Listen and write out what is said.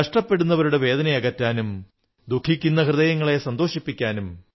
കഷ്ടപ്പെടുന്നവരുടെ വേദനയകറ്റാനും ദുഃഖിക്കുന്ന ഹൃദയങ്ങളെ സന്തോഷിപ്പിക്കാനും